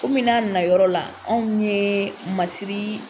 n'a nana yɔrɔ la, anw ye masiri